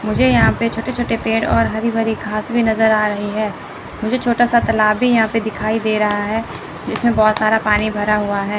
मुझे यहां पे छोटे-छोटे पेड़ और हरी भरी घास भी नज़र आ रही है मुझे छोटा सा तालाब भी यहां पे दिखाई दे रहा है जिसमें बहुत सारा पानी भरा हुआ है।